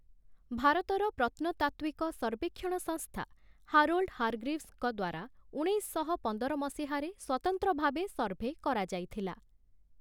ଭାରତର ପ୍ରତ୍ନତାତ୍ତ୍ଵିକ ସର୍ବେକ୍ଷଣ ସଂସ୍ଥା ହାରୋଲ୍ଡ ହାର୍‌ଗ୍ରୀଭ୍‌ସଙ୍କ ଦ୍ଵାରା ଉଣେଇଶଶହ ପନ୍ଦର ମସିହାରେ ସ୍ୱତନ୍ତ୍ର ଭାବେ ସର୍ଭେ କରାଯାଇଥିଲା ।